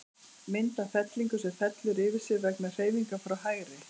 Mynd af fellingu, sem fellur yfir sig vegna hreyfingar frá hægri.